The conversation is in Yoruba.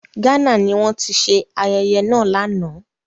Ghana ni wọ́n ti ṣe ayẹyẹ náà lánàá.